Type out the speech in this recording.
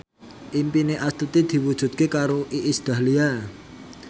impine Astuti diwujudke karo Iis Dahlia